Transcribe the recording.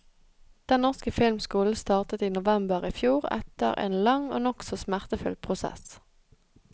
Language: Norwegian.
Den norske filmskolen startet i november i fjor etter en lang og nokså smertefull prosess.